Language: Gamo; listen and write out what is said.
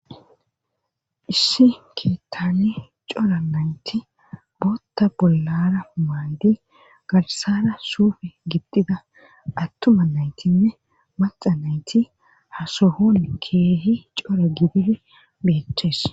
issi keettani cora nayti bootta bollara humaadi garsara suufe gibtida attuma naytinne maxa nayti hasohon keehi cora gidibe bheches